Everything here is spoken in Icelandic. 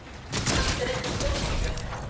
Samt er ekki stórmót hjá þeim.